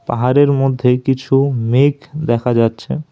পাহাড়ের মধ্যে কিছু মেঘ দেখা যাচ্ছে।